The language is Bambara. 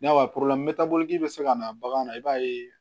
N'a ye bɛ se ka na bagan na i b'a ye